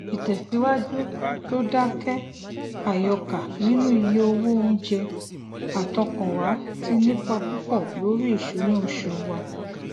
ìtẹsíwájú tó dákẹ àyọkà nínú iye owó oúnjẹ àtọkànwá ti nípa púpọ lórí ìsúná oṣù wa